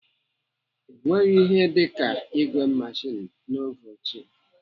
Enweghị ihe dịka ìgwè meshin n'oge ochie.